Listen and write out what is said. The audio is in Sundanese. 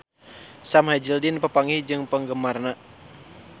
Sam Hazeldine papanggih jeung penggemarna